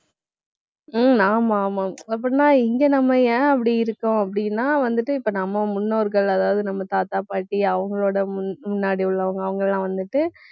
உம் ஆமா, ஆமா அப்படின்னா, இங்க நம்ம ஏன் அப்படி இருக்கோம் அப்படின்னா வந்து இப்ப நம்ம முன்னோர்கள் அதாவது நம்ம தாத்தா, பாட்டி அவங்களோட முன்~ முன்னாடி உள்ளவங்க அவங்கெல்லாம் வந்துட்டு